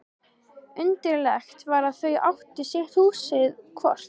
Undarlegt var að þau áttu sitt húsið hvort.